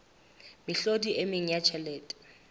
mehlodi e meng ya tjhelete